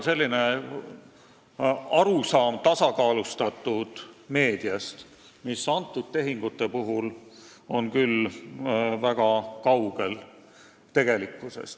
Selline on arusaam tasakaalustatud meediast, aga tegelikkuses ollakse kõnealuste tehingute puhul sellest küll väga kaugel.